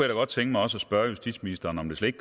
da godt tænke mig også at spørge justitsministeren om det slet